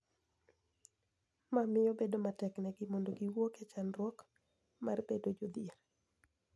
Ma miyo bedo matek negi mondo giwuok e chandruok mar bedo jodhier.